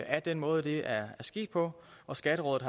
af den måde det er sket på og skatterådet